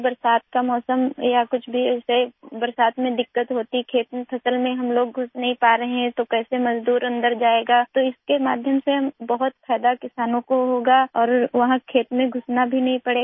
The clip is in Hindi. बरसात का मौसम या कुछ भी ऐसे बरसात में दिक्कत होती खेत में फसल में हम लोग घुस नहीं पा रहे हैं तो कैसे मजदूर अन्दर जाएगा तो इसके माध्यम से बहुत फायदा किसानों को होगा और वहाँ खेत में घुसना भी नहीं पड़ेगा